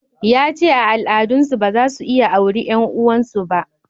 Ya ce a al'adan su ba za su iya auri 'yan uwan su ba